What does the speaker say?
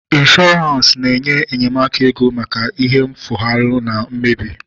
Ịnshọransị na-enye enyemaka ego maka ihe mfulahu na mmebi